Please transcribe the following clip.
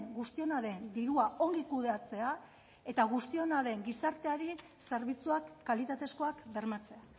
guztiona den dirua ongi kudeatzea eta guztiona den gizarteari zerbitzuak kalitatezkoak bermatzea